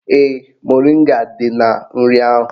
Ee, moringa dị na nri ahụ